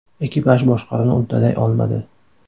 Ekipaj boshqaruvni uddalay olmadi.